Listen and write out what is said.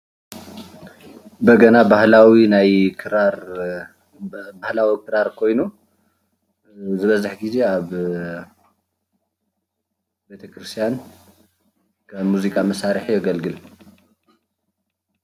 በገና ባህላዊ ክራር ኮይኑ ዝበዝሕ ግዜ ኣብ ቤተክርስትያን ከም ሙዚቃ መሳርሒ የገልግል፡፡